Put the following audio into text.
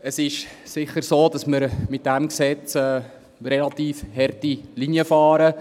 Es ist sicher so, dass wir mit diesem Gesetz eine relativ harte Linie fahren;